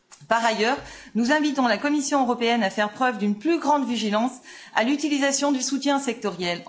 Par ailleurs, nous invitons la Commission européenne à faire preuve d'une plus grande vigilance à l'utilisation de soutiens sectoriels.